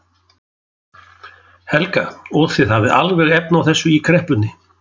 Helga: Og þið hafið alveg efni á þessu í kreppunni?